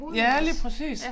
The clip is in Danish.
Ja lige præcis